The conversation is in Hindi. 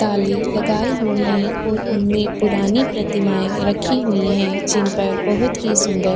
ताले लगाए हुए हैं और उनमे पुरानी प्रतिमाए रखी हुई हैं जिन पर बहोत ही सुंदर --